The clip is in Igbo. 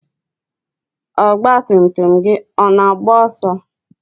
ọgba tum tum gị ọ na-agba ọsọ?